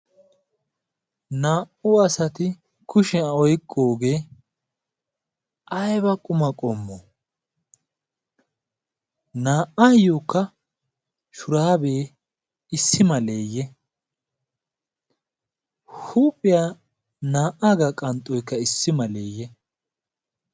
naa'u asati kushiyaa oyqqoogee ayba quma qommo naa'aayyookka shuraabee issi maleeyye huuphiyaa naa'aa gaa qanxxoykka issi maleeyye